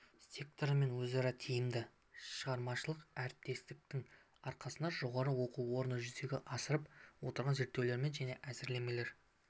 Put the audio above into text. секторымен өзара тиімді шығармашылық әріптестіктің арқасында жоғары оқу орны жүзеге асырып отырған зерттеулер мен әзірлемелер